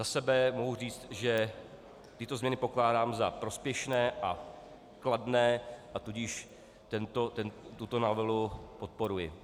Za sebe mohu říct, že tyto změny pokládám za prospěšné a kladné, a tudíž tuto novelu podporuji.